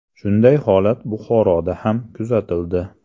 Shunday holat Buxoroda ham kuzatildi.